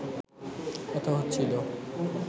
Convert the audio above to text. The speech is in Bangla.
কথা হচ্ছিল